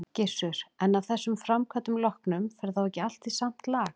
Gissur: En af þessum framkvæmdum loknum, fer þá ekki allt í samt lag?